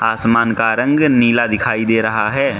आसमान का रंग नीला दिखाई दे रहा है।